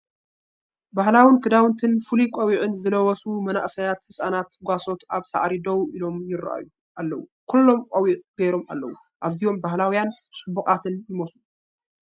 ባህላዊ ክዳውንትን ፍሉይ ቆቢዕን ዝለበሱ መንእሰያትን ህጻናትን ጓሶት ኣብ ሳዕሪ ደው ኢሎም ይረኣዩ ኣለው። ኩሎም ቆቢዕ ገይሮም ኣለው፡፡ ኣዝዮም ባህላውያንን ጽቡቓትን ይመስሉ!